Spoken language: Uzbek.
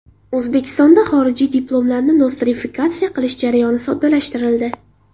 O‘zbekistonda xorijiy diplomlarni nostrifikatsiya qilish jarayoni soddalashtirildi.